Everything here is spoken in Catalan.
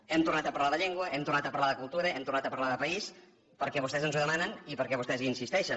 hem tornat a parlar de llengua hem tornat a parlar de cultura hem tornat a parlar de país perquè vostès ens ho demanen i perquè vostès hi insisteixen